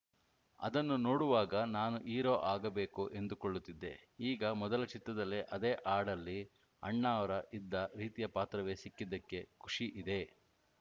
ಅದನ್ನು ನೋಡುವಾಗ ನಾನೂ ಹೀರೋ ಆಗಬೇಕು ಎಂದುಕೊಳ್ಳುತ್ತಿದ್ದೆ ಈಗ ಮೊದಲ ಚಿತ್ರದಲ್ಲೇ ಅದೇ ಹಾಡಲ್ಲಿ ಅಣ್ಣಾವ್ರ ಇದ್ದ ರೀತಿಯ ಪಾತ್ರವೇ ಸಿಕ್ಕಿದ್ದಕ್ಕೆ ಖುಷಿ ಇದೆ